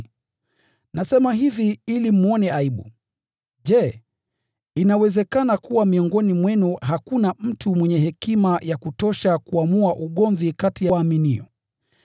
Nasema hivi ili mwone aibu. Je, inawezekana kuwa miongoni mwenu hakuna mtu mwenye hekima ya kutosha kuamua ugomvi kati ya waaminio?